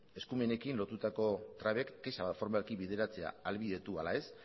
eskumenekin lotutako trabek kexa formalki bideratzea ahalbidetu ala ez